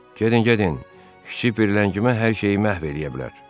Gedin, gedin, kiçik bir ləngimə hər şeyi məhv eləyə bilər.